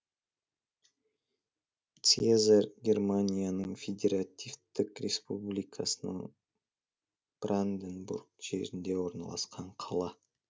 циезар германияның федеративтік республикасының бранденбург жерінде орналасқан қала